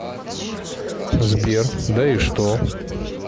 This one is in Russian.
сбер да и что